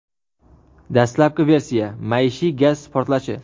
Dastlabki versiya — maishiy gaz portlashi.